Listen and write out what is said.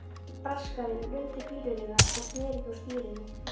Braskarinn rumdi fýlulega en sneri þó stýrinu.